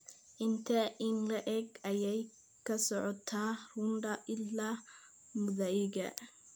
Intee in le'eg ayay ka socotaa runda ilaa muthaiga?